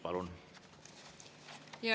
Palun!